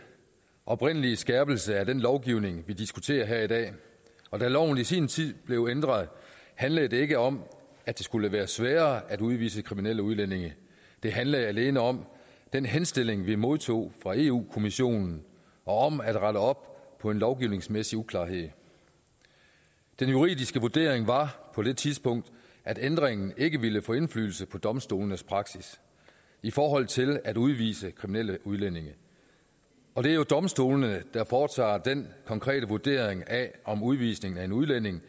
oprindelige skærpelse af den lovgivning vi diskuterer her i dag og da loven i sin tid blev ændret handlede det ikke om at det skulle være sværere at udvise kriminelle udlændinge det handlede alene om den henstilling vi modtog fra eu kommissionen og om at rette op på en lovgivningsmæssig uklarhed den juridiske vurdering var på det tidspunkt at ændringen ikke ville få indflydelse på domstolenes praksis i forhold til at udvise kriminelle udlændinge og det er jo domstolene der foretager den konkrete vurdering af om udvisning af en udlænding